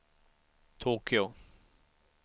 Tokyo